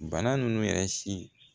Bana ninnu yɛrɛ si